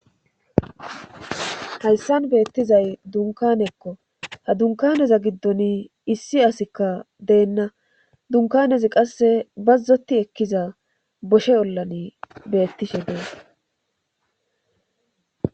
Hayssan beettizay dunkanekko ha dunkaneza giddon issi asikka deenna dunkanezi qasse bazzoti ekkiza boshe ollan beettishe dees